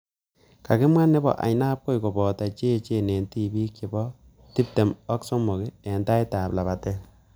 Kakimwa nebo ainabkoi koboto cheechen eng tipik che bo pik tiptem ak somok eng taitab lapatet